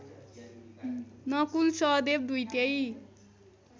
नकुल सहदेव दुईटै